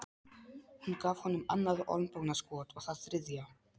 Hún gaf honum annað olnbogaskot og það þriðja.